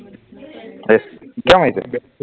এহ, পোৰা মাৰিছে